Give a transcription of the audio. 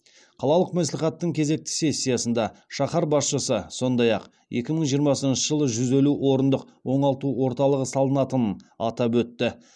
қалалық мәслихаттың кезекті сессиясында шаһар басшысы сондай ақ екі мың жиырмасыншы жылы жүз елу орындық оңалту орталығы салынатынын атап өтті